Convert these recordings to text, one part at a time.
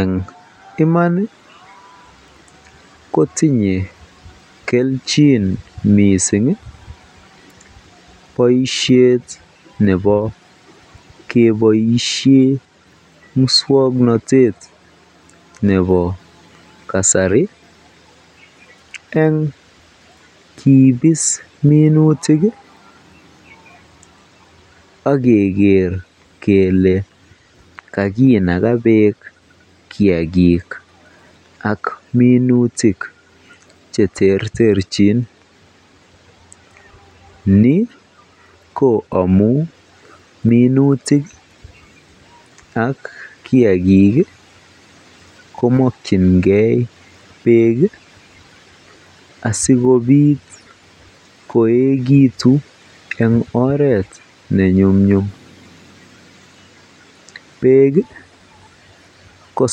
Eng iman kotinye kelchin mising boishet nebo keboishen muswoknotet nebo kasari eng kibis minutik ak keker kelee kakinaka beek kiakik ak minutik che terterchin, nii ko amun minutik ak kiakik komokyinge beek asikobit koekitu en oreet ne nyumnyum, beek ko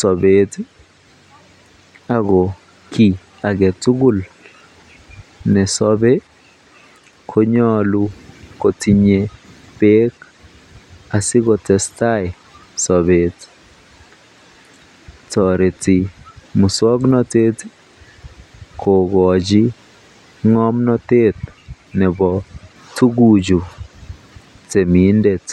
sobet ak ko kii aketukul nesobe konyolu kotinye beek asikotestai sobet, toreti muswoknotet kokochi ngomnotet nebo tukuchu temindet.